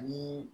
Ani